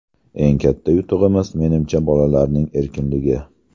Eng katta yutug‘imiz, menimcha, bolalarning erkinligi.